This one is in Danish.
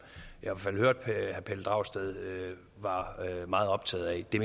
jeg i hvert fald hørte at herre pelle dragsted var meget optaget af det